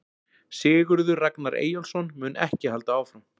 Sigurður Ragnar Eyjólfsson mun ekki halda áfram.